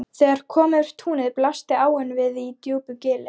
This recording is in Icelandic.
Þegar kom yfir túnið blasti áin við í djúpu gili.